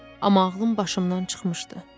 Amma ağlım başımdan çıxmışdı.